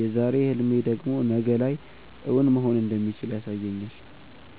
የዛሬ ህልሜ ደግሞ ነገ ላይ እውን መሆን እንደሚችል ያሳየኛል።